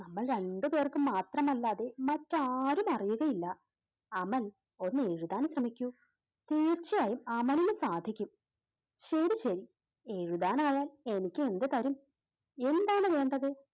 നമ്മൾ രണ്ടുപേർക്കും മാത്രമല്ലാതെ മറ്റാരും അറിയുകയില്ല. അമൽ ഒന്ന് എഴുതാൻ ശ്രമിക്കൂ തീർച്ചയായും അമലിന് സാധിക്കും. ശരി ശരി എഴുതാൻ ആയാൽ എനിക്ക് എന്ത് തരും? എന്താണ് വേണ്ടത്?